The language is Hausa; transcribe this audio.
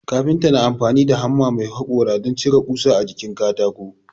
Kafinta na amfani da hamma mai haƙora don cire ƙusa a jikin katako